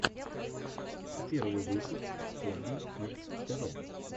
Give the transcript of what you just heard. первый выпуск хобби кидс тэ вэ